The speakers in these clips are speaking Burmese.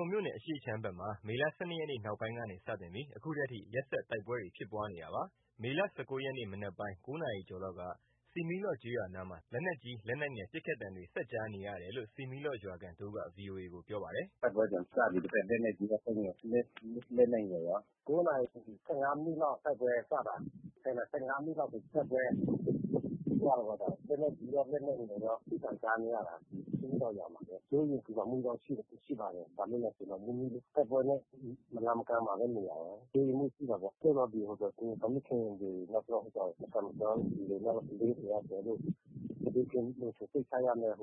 ုံမြို့နယ်အရှေ့ခြမ်းဘက်မှာ မေလ ၁၂ ရက်နေ့နောက်ပိုင်းကနေစတင်ပြီး ဒီနေ့အထိ ရက်ဆက် တိုက်ပွဲဖြစ်ပွားနေတာပါ။ မေလ ၁၉ ရက် ဒီနေ့ မနက်ပိုင်း ၉ နာရီကျော်လောက်က ဆီမီးလော့ကျေးရွာနားမှာ လက်နက်ကြီး လက်နက်ငယ် ပစ်ခတ်သံနဲ့ ဆက်ကြားနေရတယ်လို့ ဆီမီးလော့ရွာခံ တဦးက ဗွီအိုအေကို ပြောပါတယ်။ “တိုက်ပွဲပြန်စပြီး ဒီဘက် လက်နက်ကြီးရော လက်နက်ငယ်ရော ၉ နာရီ ၁၅ မိနစ်လောက် တိုက်ပွဲစတာ ၁၀ နာရီ ၁၅ မိနစ်လောက်ဆို တိုက်ပွဲဖြစ်ပြီးသွားတာပေါ့။ လက်နက်ကြီးရော လက်နက်ငယ်ရော ပစ်သံကြားနေရတာ ဒီဆီးမီးလော့ရွာမှာပဲ။ စိုးရိမ်ပင်ပူမှုတော့ ရှိပါတယ်။ ဘာလို့လဲဆိုတော့ နီးနီးလေး တိုက် ပွဲနဲ့ မလှမ်းမကမ်းမှာပဲနေတာ စိုးရိမ်မှုရှိတာပေါ့။ တချို့သော ကိုယ်ဝန်ဆောင်မိခင်တွေ နောက်ပြီးတော့ မသန်မစွမ်းသူတွေ နောက်ကလေးတွေရော ကျနော် တို့ ဘေးကင်းလုံခြုံစိတ်ချရမယ့်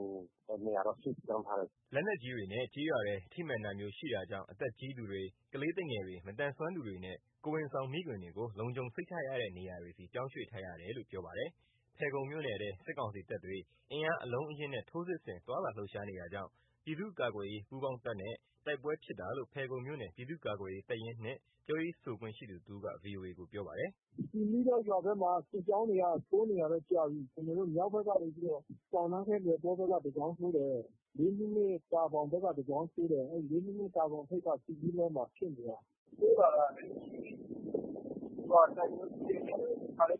နေရာတော့ ရွှေ့ပြောင်းထားတယ်။” လက်နက်ကြီးတွေ ကျေးရွာထဲ ထိမှန်တာမျိုးရှိတာကြောင့် အသက်ကြီးသူတွေ ကလေးသူငယ်တွေ မသန်မစွမ်းသူတွေနဲ့ ကိုယ်ဝန်ဆောင်မိခင်တွေကို လုံခြုံစိတ်ချရတဲ့ နေရာတွေဆီ ပြောင်းရွေ့ထားရတာလို့ ပြောပါတယ်။ ဖယ်ခုံမြို့နယ်ထဲ စစ်ကောင်စီတပ်တွေ အင်အားအလုံးအရင်းနဲ့ ထိုးစစ်ဆင် သွားလာလှုပ်ရှားနေတာကြောင့် ပြည်သူ့ကာကွယ်ရေးပူးပေါင်းတပ်နဲ့ တိုက်ပွဲဖြစ်တာလို့ ဖယ်ခုံမြို့နယ်ပြည်သူ့ကာကွယ်ရေး တပ်ရင်း (၂) ပြောရေးဆိုခွင့်ရှိသူ တဦးက ဗွီအိုအေကို ပြောပါတယ်။ “ဆီးမီးလော့ရွာဘက်မှာ စစ်ကြောင်းတွေက ထိုးနေတာတော့ ကြာပြီ။ မြောက် ဘက်ကနေပြီးတော့ ဆောင်နန်းခဲလယ်တောဘက်က တကြောင်းထိုးတယ်။ မိုးဗြဲအင်း တာဘောင်ဘက်က တကြောင်းထိုးတယ်။ မိုးဗြဲလေး တာဘောင်ထိပ်က ဆီးမီးလော့မှာဖြစ်နေတာ။ ထိုးလာတာ အဲဒီချိန်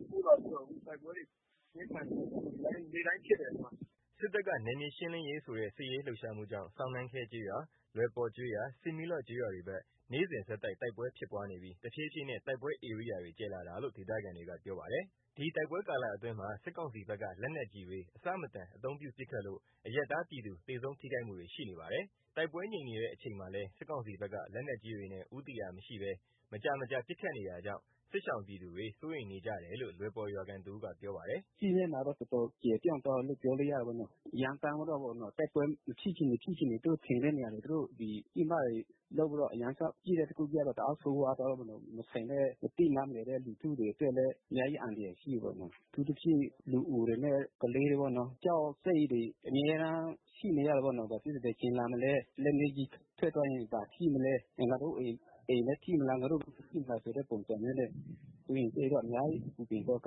ထိ သူကတိုက်ပွဲတဲ့အချိန် တခါတည်းထိုးလာပြီးတော့ အခုတိုက်ပွဲတွေ ပြင်းထန်နေတာ။ နေ့တိုင်းဖြစ်တယ်။” စစ်တပ်က နယ်မြေရှင်းလင်းရေးဆိုတဲ့ စစ်ရေးလှုပ်ရှားမှုကြောင့် ဆောင်နန်းခဲကျေးရွာ၊ လွယ်ပေါကျေးရွာ၊ ဆီးမီးလော့ကျေးရွာတွေဘက် နေ့စဉ်ဆက်တိုက် တိုက်ပွဲဖြစ်ပွားနေပြီး တဖြေးဖြေးနဲ့ တိုက်ပွဲဧရိယာတွေ ကျယ်လာတာလို့ ဒေသခံက ပြောပါတယ်။ ဒီတိုက်ပွဲကာလအတွင်းမှာ စစ်ကောင်စီဘက်က လက်နက်ကြီးတွေ အဆမတန် အသုံးပြုပစ်ခတ်လို့ အရပ်သားပြည်သူ သေဆုံးထိခိုက်မှုတွေ ရှိနေပါတယ်။ တိုက်ပွဲငြိမ်နေတဲ့အချိန်မှာလည်း စစ်ကောင်စီဘက်က လက်နက်ကြီးတွေနဲ့ ဦးတည်ရာမရှိ မကြာမကြာပစ်ခတ်နေတာကြောင့် စစ်ရှောင်ပြည်သူတွေ စိုးရိမ်နေကြတယ်လို့ လွယ်ပေါရွာခံတဦးက ပြောပါတယ်။ “စစ်မျက်နှာတော့ တော်တော်ကျယ်ပြန့်သွားတယ်လို့ ပြောလို့ရတယ်ပေါ့နော်။ ရမ်းသမ်းပြီးတော့ပေါ့နော်၊ တိုက်ပွဲမဖြစ်ချင်နေ ဖြစ်ချင်နေ သူတို့ထင်တဲ့နေရာတွေ သူတို့ဒီပစ်မှတ်တွေလုပ်ပြီးတော့ အရမ်းလျှောက်ပစ်တော့ တအားဆိုးဝါးသွားတယ်ပေါ့နော်။ မဆိုင်တဲ့ မသိနားမလည်တဲ့ လူထုတွေအတွက်လည်း အများကြီးအန္တရာယ်ရှိတာပေါ့နော်။ အထူးသဖြင့် လူအိုတွေနဲ့ ကလေးတွေပေါ့နော် ကြောက်စိတ်တွေ အမြဲတမ်းရှိနေရတယ်ပေါ့နော်။ ဘာဖြစ်လဲဆိုတော့ လက်နက်ကြီးက ဘယ်အချိန်လာမလဲ၊ လက်နက်ကြီးထွက်သွားရင် ဘာထိမလဲ၊ ငါတို့ အိမ်ပဲထိမလား၊ ငါတို့ပဲထိမလားဆိုတဲ့ ပုံစံမျိုးနဲ့ စိုးရိမ်စိတ်တော့ အများကြီး ပူပင်တော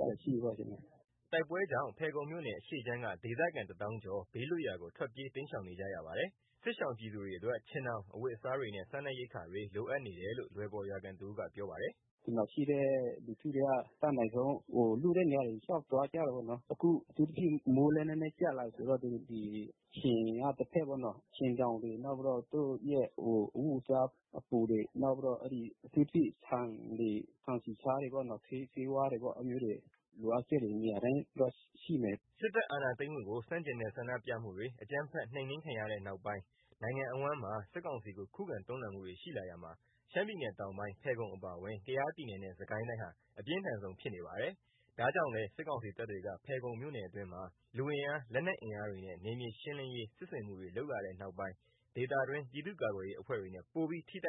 ကတွေ ရှိတာပေါ့၊ ကျနော်တို့က။” တိုက်ပွဲကြောင့် ဖယ်ခုံမြို့နယ် အရှေ့ခြမ်းက ဒေသခံ တသောင်းကျော် ဘေးလွတ်ရာကို ထွက်ပြေးတိမ်းရှောင်နေကြပါတယ်။ စစ်ရှောင်ပြည်သူတွေအတွက် ခြင်ထောင်၊ အဝတ်အစားတွေနဲ့ စားနပ်ရိက္ခာတွေ လိုအပ်နေတယ်လို့ လွယ်ပေါရွာခံက ပြောပါတယ်။ “ဒီမှာရှိတဲ့ လူထုတွေက အတတ်နိုင်ဆုံး လွတ်တဲ့နေရာတွေ လျှောက်သွားကြတယ်ပေါ့နော်။ အခု အထူးသဖြင့် မိုးလည်း နည်းနည်းကျလာပြီဆိုတော့ ဒီခြင်က တဘက်ပေါ့နော်။ ခြင်ထောင်တွေ နောက်ပြီးတော့ သူတို့ရဲ့ အဝတ်အစားအပိုတွေ နောက်ပြီးတော့ အထူးသဖြင့် ဆန်တွေ ဆန်၊ ဆီ၊ ဆားတွေပေါ့နော်။ ဆေးဝါးတွေပေါ့။ အဲ့လိုမျိုးတွေ လိုအပ်ချက်တွေ နေရာတိုင်းတော့ ရှိမယ်။” စစ်တပ်အာဏာသိမ်းမှုကို ဆန့်ကျင်တဲ့ဆန္ဒမှုတွေ အကြမ်းဖက်နှိမ်နင်းခံရတဲ့နောက်ပိုင်း နိုင်ငံအဝှမ်းမှာ စစ်ကောင်စီကို ခုခံတွန်းလှန်မှုတွေရှိလာရာမှာ ရှမ်းပြည်နယ်တောင်ပိုင်း ဖယ်ခုံအပါအဝင် ကယားပြည်နယ်နဲ့ စစ်ကိုင်းတိုင်းဟာ အပြင်းထန်ဆုံးဖြစ်နေပါတယ်။ ဒါကြောင့်လည်း စစ်ကောင်စီတပ်တွေက ဖယ်ခုံမြို့နယ်တွင်းမျာ လူအင်အား လက်နက်အင်အားတွေနဲ့ နယ်မြေရှင်းလင်းရေးစစ်ဆင်မှုတွေလုပ်လာတဲ့နောက်ပိုင်း ဒေသတွင်း ပြည်သူ့ကာကွယ်ရေးအဖွဲ့တွေနဲ့ ပိုပြီး ထိတိုက်